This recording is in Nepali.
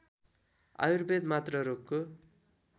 आयुर्वेद मात्र रोगको